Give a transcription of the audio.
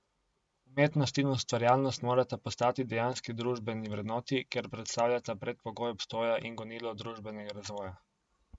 Umetnost in ustvarjalnost morata postati dejanski družbeni vrednoti, ker predstavljata predpogoj obstoja in gonilo družbenega razvoja.